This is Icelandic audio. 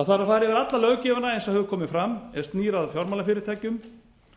það þarf að fara yfir alla löggjöfina eins og hefur komið fram er snýr að fjármálafyrirtækjum